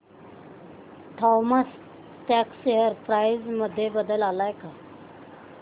Thomas Scott share price मध्ये बदल आलाय का